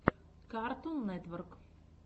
картун нетворк